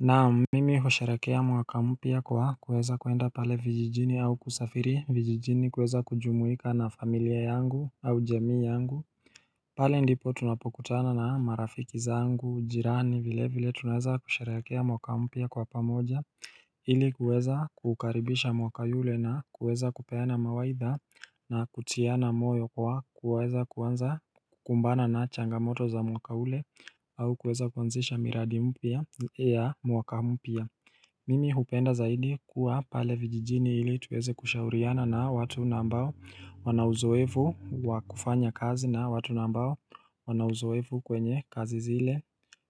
Naam mimi husherehekea mwaka mpya kwa kuweza kuenda pale vijijini au kusafiri vijijini kuweza kujumuika na familia yangu au jamii yangu pale ndipo tunapokutana na marafiki zangu jirani vile vile tunaweza kusherehekea mwaka mpya kwa pamoja ili kuweza kukaribisha mwaka yule na kuweza kupeana mawaidha na kutiana moyo kwa kuweza kuanza kumbana na changamoto za mwaka ule au kuweza kuanzisha miradi mpya ya mwaka mpya Mimi hupenda zaidi kuwa pale vijijini ili tuweze kushauriana na watu ambao wana uzoefu wakufanya kazi na watu ambao wana uzoefu kwenye kazi zile